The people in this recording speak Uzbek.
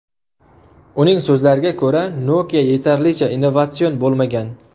Uning so‘zlariga ko‘ra, Nokia yetarlicha innovatsion bo‘lmagan.